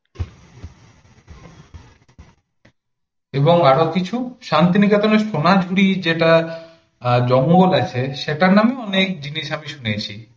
এবং আরো কিছু, শান্তিনিকেতনের সোনাঝুরি যেটা অ্যাঁ জল মহল অ্ছে নামও অনেক জিনিস আমি শুনেছি